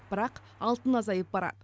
бірақ алтын азайып барады